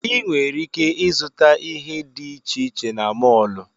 Ị nwere ike ịzụta ihe dị iche iche na mọọlụ.